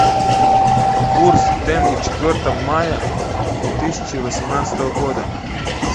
курс тенге четвертого мая две тысячи восемнадцатого года